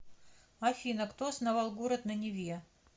афина кто основал город на неве